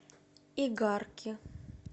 игарки